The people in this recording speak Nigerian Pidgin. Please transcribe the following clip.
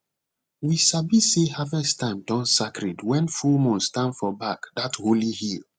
we sabi say harvest time don sacred when full moon stand for back that holy hill